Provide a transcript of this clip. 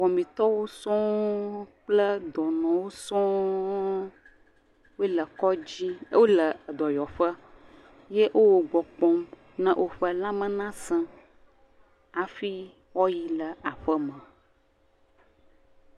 Wɔmetɔwo sɔŋ kple dɔnɔwo sɔŋ wole kɔdzi, wole dɔyɔƒe ye wo wo gbɔ kpɔm na woƒe lãmea nasẽ hafi woayi le aƒeme.